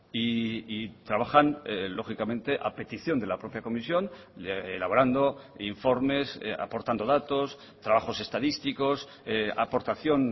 y trabajan lógicamente a petición de la propia comisión elaborando informes aportando datos trabajos estadísticos aportación